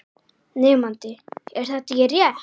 Nemandi: Er þetta ekki rétt?